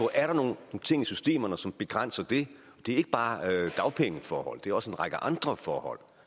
er nogle ting i systemerne som begrænser det det er ikke bare dagpengeforhold det er også en række andre forhold